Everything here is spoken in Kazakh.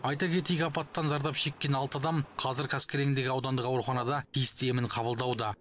айта кетейік апаттан зардап шеккен алты адам қазір қаскелеңдегі аудандық ауруханада тиісті емін қабылдауда